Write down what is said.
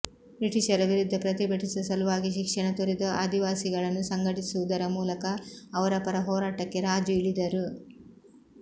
ಬ್ರಿಟಿಷರ ವಿರುದ್ಧ ಪ್ರತಿಭಟಿಸುವ ಸಲುವಾಗಿ ಶಿಕ್ಷಣ ತೊರೆದು ಆದಿವಾಸಿಗಳನ್ನು ಸಂಘಟಿಸುವುದರ ಮೂಲಕ ಅವರ ಪರ ಹೋರಾಟಕ್ಕೆ ರಾಜು ಇಳಿದರು